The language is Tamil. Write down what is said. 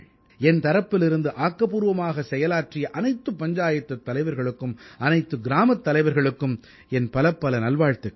என் தரப்பிலிருந்து ஆக்கப்பூர்வமான செயலாற்றிய அனைத்து பஞ்சாயத்துத் தலைவர்களுக்கும் அனைத்து கிராமத் தலைவர்களுக்கும் என் பலப்பல நல்வாழ்த்துக்கள்